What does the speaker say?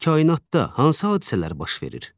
Bəs kainatda hansı hadisələr baş verir?